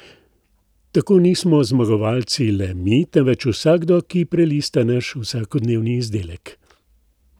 Tako nismo zmagovalci le mi, temveč vsakdo, ki prelista naš vsakodnevni izdelek.